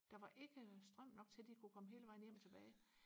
der var ikke strøm nok til de kunne komme hele vejen hjem tilbage